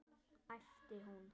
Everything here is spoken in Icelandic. æpti hún.